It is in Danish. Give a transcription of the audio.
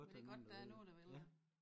Men det er godt der er nogen der vil det